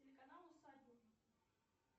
телеканал усадьба